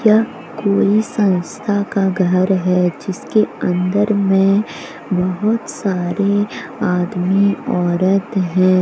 यह कोई संस्था का घर है जिसके अंदर में बहोत सारे आदमी औरत है।